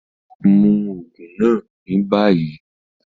Mú oogun náà mí ní bayí!